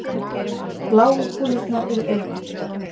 bláu kúlurnar eru augun